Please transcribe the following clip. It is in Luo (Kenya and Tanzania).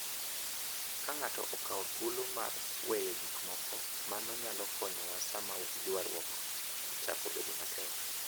Ka ng’ato okawo thuolo mar weyo gik moko, mano nyalo konyowa sama ywarruok ochako bedo matek.